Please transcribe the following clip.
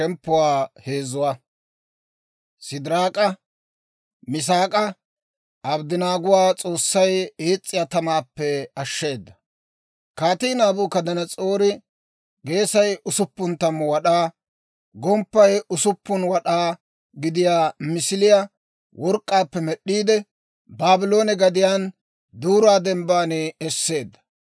Kaatii Naabukadanas'oori geesay usuppun tammu wad'aa, gomppay usuppun wad'aa gidiyaa misiliyaa work'k'aappe med'd'iide, Baabloone gadiyaan Duura Dembban esseedda.